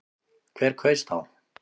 Hver kaus þá?